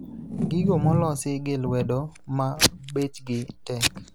Gigo molosi gi lwedo ma bechgi tek